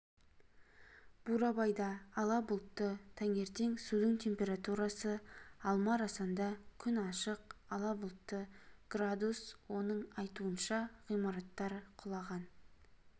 бурабайда ала бұлтты таңертең судың температурасы алма-арасанда күн ашық ала бұлтты градус оның айтуынша ғимараттар құлаған